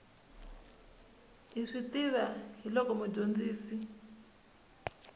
hi swi tiva hiloko mudyondzisi